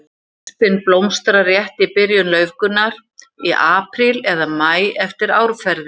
Öspin blómstrar rétt í byrjun laufgunar, í apríl eða maí eftir árferði.